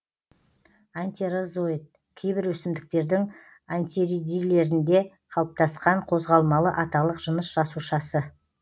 антерозоид кейбір өсімдіктердің антеридийлерінде қалыптаскан қозғалмалы аталық жыныс жасушасы